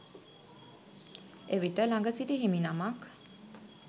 එවිට ළඟ සිටි හිමිනමක්